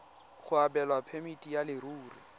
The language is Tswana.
go abelwa phemiti ya leruri